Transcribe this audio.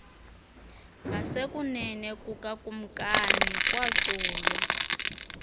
ngasekunene kukakumkani kwaculwa